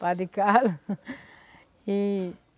Padre Carlos e